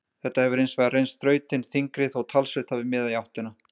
Þetta hefur hins vegar reynst þrautin þyngri þó að talsvert hafi miðað í áttina.